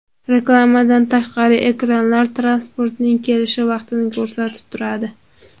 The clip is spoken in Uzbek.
Reklamadan tashqari, ekranlar transportning kelish vaqtini ko‘rsatib turadi.